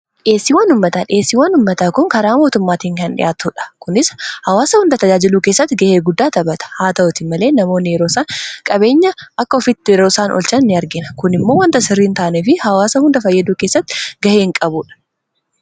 Dhiyeessiiwwan uummataa. Dhiyeessiiwwan uummataa kun karaa mootummaatiin kan dhi'aattudha. Kunis hawaasa hunda tajaajiluu keessatti ga'ee guddaa taphata. Haa ta'utii malee namoonni yeroo isaan qabeenya akka ofitti yeroo isaan oolchan in argina. Kun immoo wanta sirrii hin taanee fi hawaasa hunda fayyaduu keessatti gahee hin qabuudha.